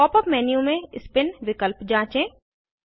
pop up menu में spin विकल्प जाँचें